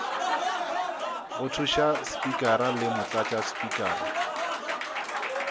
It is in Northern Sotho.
go thuša spikara le motlatšaspikara